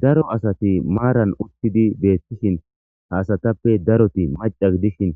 Daro asati maaran uttidi beettishin haasatappe daroti maca gidishin